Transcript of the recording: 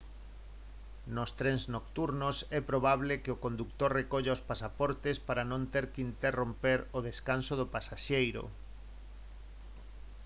nos trens nocturnos é probable que o condutor recolla os pasaportes para non ter que interromper o descanso do pasaxeiro